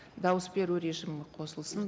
дауыс беру режимі қосылсын